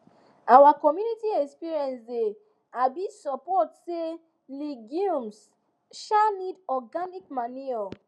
our community experience dey um support say legumes um need organic manure